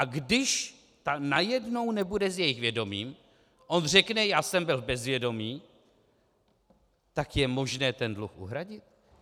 A když, a najednou nebude s jejich vědomím, on řekne "Já jsem byl v bezvědomí.", tak je možné ten dluh uhradit?